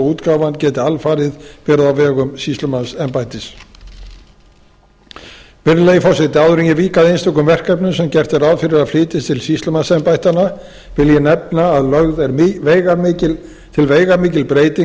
útgáfan geti alfarið verið á vegum sýslumannsembættis virðulegi forseti áður en ég vík að einstökum verkefnum sem gert er ráð fyrir að flytjist til sýslumannsembættanna vil ég nefna að lögð er til veigamikil breyting